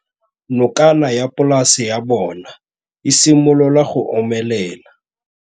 Nokana ya polase ya bona, e simolola go omelela.